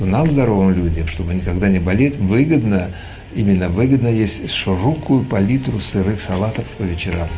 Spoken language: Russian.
и нам здоровым людям чтобы никогда не болит выгодно именно выгодно если широкую палитру сырых салатов по вечерам